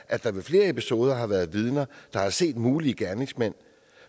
at der ved flere episoder har været vidner der har set mulige gerningsmænd